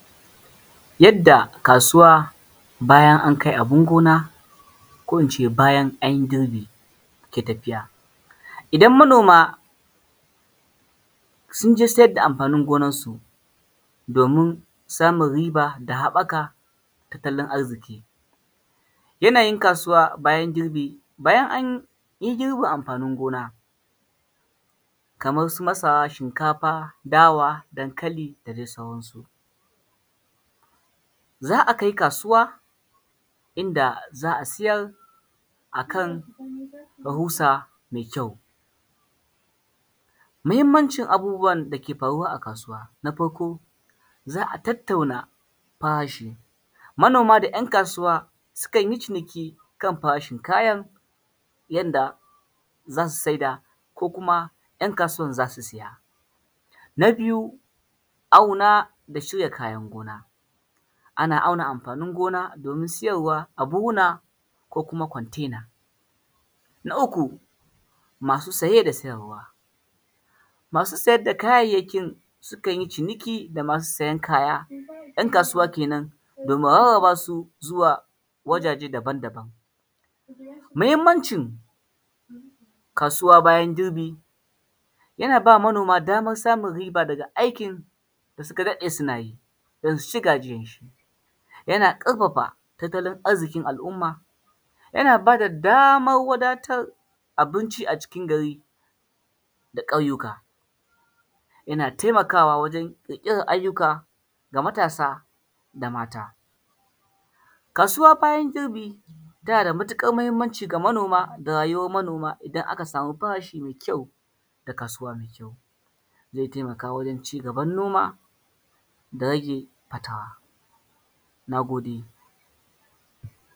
Yadda a kasuwa bayan an kai abin gona ko ince bayan an yi girbi ke tafiya, idan manoma sun je siyar da amfanin gonar su domin samun riba da habaƙa tattalin arziki, yanayin kasuwa bayan girbi bayan an girbe amfanin gona kamar su masara, shinkafa, dawa, dankali da dai sauran su, za a kai kasuwa inda za a siyar akan rahusa mai kyau, muhimmancin abubuwan da ke faruwa a kasuwa, na farko za a tattauna farashi, manoma da ‘yan kasuwa sukan yi ciniki kan farashin kayan yadda zasu saida ko kuma ‘yan kasuwan za su siya, na biyu auna da cire kayan gona, ana auna amfanin gona domin siyarwa a buhuna ko kuma kontena, na uku masu siye da siyarwa, masu siyar da kayayyakin sukan yi ciniki da masu siyan kaya ‘yan kasuwa kenan domin rarraba su zuwa wajaje daban-daban, muhimmancin kasuwa bayan girbi yana ba manoma damar samun riba daga aikin da suka daɗe suna yi basu ci gajiyan shi, yana karfafa tattalin arzikin al’umma, yana bada damar wadatar abinci a cikin gari da ƙauyuka, yana taimakawa wajen kirkiran ayyuka ga matasa da mata, kasuwa bayan girbi tana da matuƙar muhimmanci ga manoma da rayuwan manoma idan aka samu farashi mai kyau da kasuwa mai kyau zai taimaka wajen cigaban noma da rage fatara, na gode.